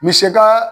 Misɛ kaa